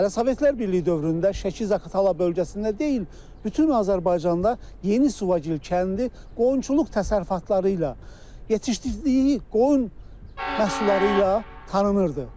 Hələ Sovetlər Birliyi dövründə Şəki-Zaqatala bölgəsində deyil, bütün Azərbaycanda Yeni Suvagil kəndi qoyunçuluq təsərrüfatları ilə yetişdirdiyi qoyun məhsulları ilə tanınırdı.